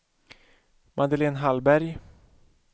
Madeleine Hallberg